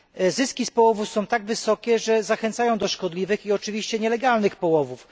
Zyski z połowów są tak wysokie, że zachęcają do szkodliwych i oczywiście nielegalnych połowów.